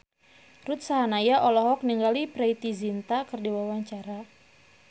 Ruth Sahanaya olohok ningali Preity Zinta keur diwawancara